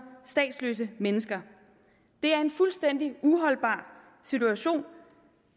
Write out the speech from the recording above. statsløse mennesker det er en fuldstændig uholdbar situation